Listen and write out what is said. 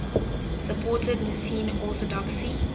supported nicene orthodoxy